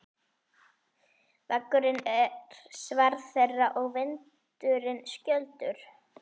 Vegurinn er sverð þeirra og vindurinn skjöldur.